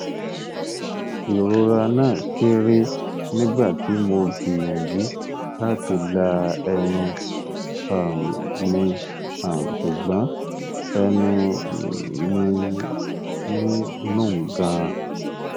irora na kere nigbati mo gbiyanju lati la ẹnu um mi um sugbon ẹnu um mi n run gan